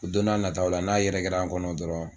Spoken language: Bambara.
Don n'a nataw la n'a yɛrɛkɛra an kɔnɔ dɔrɔn